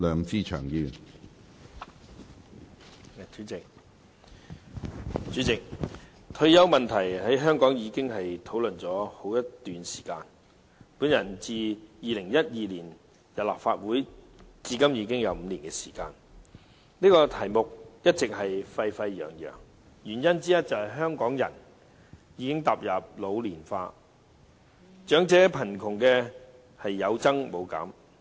主席，退休問題在香港已經討論了好一段時間，我自2012年加入立法會至今已有5年，其間這議題一直沸沸揚揚，原因之一是香港人口已經開始老年化，長者貧窮人數有增無減。